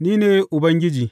Ni ne Ubangiji.